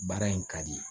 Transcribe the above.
Baara in ka di